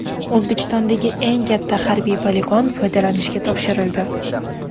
O‘zbekistondagi eng katta harbiy poligon foydalanishga topshirildi .